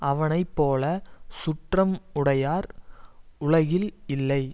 அவனை போல சுற்றம் உடையார் உலகில் இல்லை